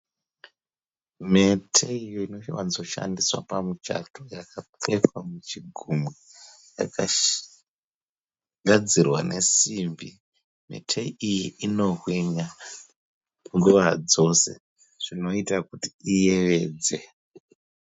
Mhete iyo inowanzoshandiswa pamuchato yakapfekwa muchigumwe. Yakagadzirwa nesimbi. Mhete iyi inohwinya nguva dzose zvinoiita kuti iyevedze.